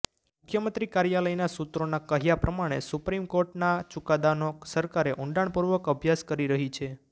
મુખ્યમંત્રી કાર્યાલયના સૂત્રોના કહ્યા પ્રમાણે સુપ્રીમ કોર્ટના ચુકાદાનો સરકારે ઊંડાણપૂર્વક અભ્યાસ કરી રહીં છે